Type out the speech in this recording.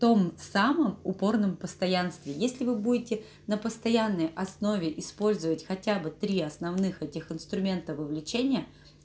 том самом упорном постоянстве если вы будете на постоянной основе использовать хотя бы три основных этих инструментов вовлечения